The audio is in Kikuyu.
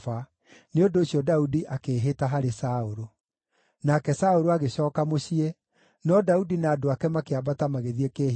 Nĩ ũndũ ũcio Daudi akĩĩhĩta harĩ Saũlũ. Nake Saũlũ agĩcooka mũciĩ, no Daudi na andũ ake makĩambata magĩthiĩ kĩĩhitho-inĩ.